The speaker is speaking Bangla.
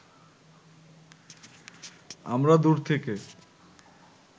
আমরা দূর থেকে